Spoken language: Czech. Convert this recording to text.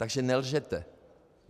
Takže nelžete.